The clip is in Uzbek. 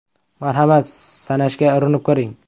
Marhamat, sanashga urinib ko‘ring!